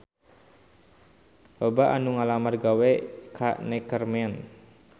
Loba anu ngalamar gawe ka Neckerman